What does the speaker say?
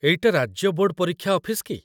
ଏଇଟା ରାଜ୍ୟ ବୋର୍ଡ ପରୀକ୍ଷା ଅଫିସ କି?